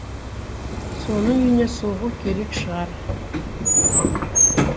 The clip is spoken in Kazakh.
соның үйіне соғу керек шығар